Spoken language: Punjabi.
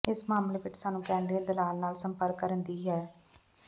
ਇਸ ਮਾਮਲੇ ਵਿੱਚ ਸਾਨੂੰ ਕ੍ਰੈਡਿਟ ਦਲਾਲ ਨਾਲ ਸੰਪਰਕ ਕਰਨ ਦੀ ਹੈ